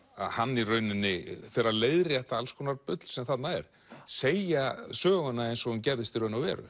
að hann í rauninni fer að leiðrétta alls konar bull sem þarna er segja söguna eins og hún gerðist í raun og veru